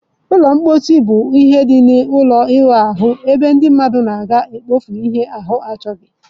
Ụlọ mposi bụ ihe dị n'ime ụlọ ịwụ ahụ ebe ndị mmadụ na-aga mkpofu ihe ahu achoghi.